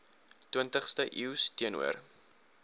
twintigste eeus teenoor